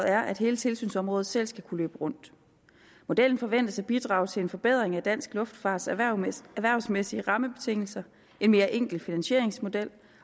er at hele tilsynsområdet selv skal kunne løbe rundt modellen forventes at bidrage til en forbedring af dansk luftfarts erhvervsmæssige erhvervsmæssige rammebetingelser en mere enkel finansieringsmodel